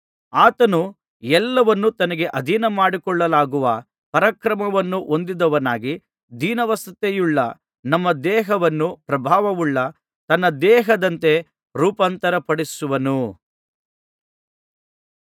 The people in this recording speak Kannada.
ಆತನು ಎಲ್ಲವನ್ನೂ ತನಗೆ ಅಧೀನಮಾಡಿಕೊಳ್ಳಲಾಗುವ ಪರಾಕ್ರಮವನ್ನು ಹೊಂದಿದವನಾಗಿ ದೀನಾವಸ್ಥೆಯುಳ್ಳ ನಮ್ಮ ದೇಹವನ್ನು ಪ್ರಭಾವವುಳ್ಳ ತನ್ನ ದೇಹದಂತೆ ರೂಪಾಂತರಪಡಿಸುವನು